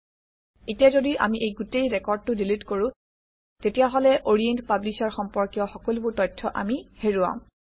এতিয়া যদি আমি এই গোটেই ৰেকৰ্ডটো ডিলিট কৰোঁ তেতিয়াহলে অৰিয়েণ্ট পাব্লিশ্বাৰ সম্পৰ্কীয় সকলোবোৰ তথ্য আমি হেৰুৱাম